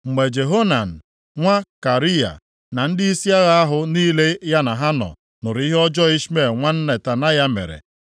Mgbe Johanan nwa Kariya, na ndịisi agha ahụ niile ya na ha nọ nụrụ ihe ọjọọ Ishmel nwa Netanaya mere,